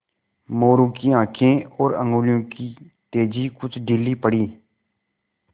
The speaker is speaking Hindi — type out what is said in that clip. मोरू की आँखें और उंगलियों की तेज़ी कुछ ढीली पड़ी